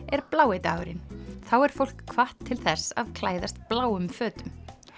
er blái dagurinn þá er fólk hvatt til þess að klæðast bláum fötum